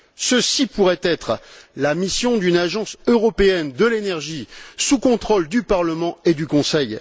Ceci pourrait être la mission d'une agence européenne de l'énergie sous contrôle du Parlement et du Conseil.